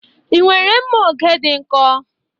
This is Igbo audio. Ị nwere mma oge dị nkọ?